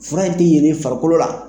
Fura in tɛ yelen i farikolo la.